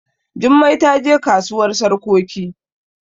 Jummai ta je kasuwar sarkoki